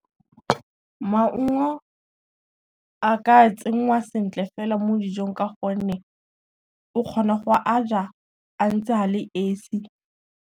Maungo a ka tsenngwa sentle fela mo dijong ka gonne, o kgona go a ja a ntse a le esi.